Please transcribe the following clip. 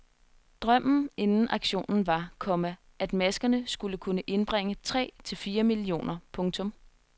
Drømmen inden auktionen var, komma at maskerne skulle kunne indbringe tre til fire millioner. punktum